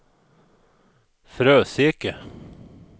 Fröseke